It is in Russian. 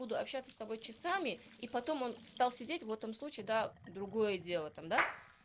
буду общаться с тобой часами и потом он стал сидеть в этом случае да другое дело там да